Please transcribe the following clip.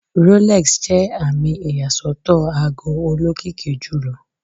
Rolex jẹ ami iyasọtọ aago olokiki julọ